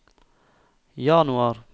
januar